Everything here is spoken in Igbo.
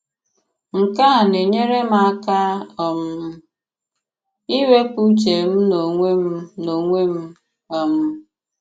Nke à na-enyèrè m àka um ìwèpụ ùchè m n'ònwè m n'ònwè m. um